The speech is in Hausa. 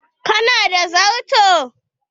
Ka na da darto?